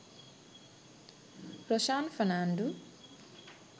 roshan fernando